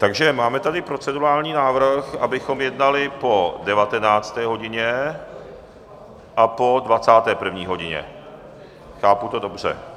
Takže máme tady procedurální návrh, abychom jednali po 19. hodině a po 21. hodině, chápu to dobře?